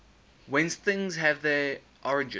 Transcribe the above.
whence things have their origin